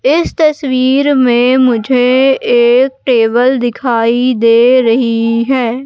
इस तस्वीर में मुझे एक टेबल दिखाई दे रही है।